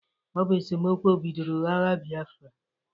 Ọ bụ esomokwu bidoro agha biafra.